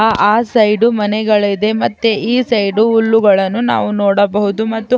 ಆ ಸೈಡು ಮನೆಗಳಿದೆ ಮತ್ತೆ ಈ ಸೈಡು ಹುಲ್ಲುಗಳನ್ನುನಾವು ನೋಡಬಹುದು ಮತ್ತು.